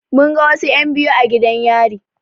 Mun ga wasu en biyu a gidan yari